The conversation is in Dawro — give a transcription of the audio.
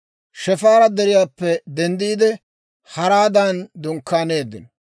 Shefaara Deriyaappe denddiide, Haraadan dunkkaaneeddino.